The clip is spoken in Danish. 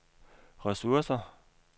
ressourcer